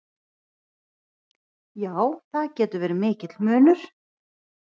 Já, það getur verið mikill munur.